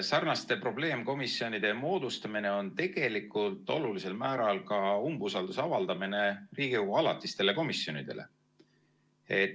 Sarnaste probleemkomisjonide moodustamine on tegelikult olulisel määral ka umbusalduse avaldamine Riigikogu alatistele komisjonidele.